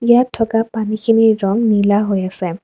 ইয়াত থকা পানীখিনিৰ ৰং নীলা হৈ আছে।